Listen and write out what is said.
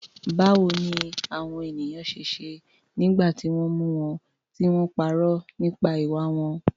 Báwo ni àwọn ènìyàn ṣe ṣe nígbà tí wọ́n mú wọn tí wọ́n parọ́ nípa ìwà wọn?